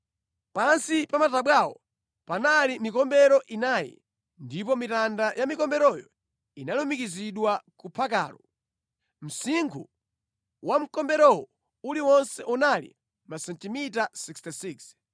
Pansi pa matabwawo panali mikombero inayi, ndipo mitanda ya mikomberoyo inalumikizidwa ku phakalo. Msinkhu wa mkombero uliwonse unali masentimita 66.